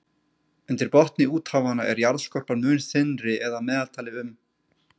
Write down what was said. Undir botni úthafanna er jarðskorpan mun þynnri eða að meðaltali um